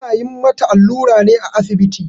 Ana yin mata allura ne a asibiti.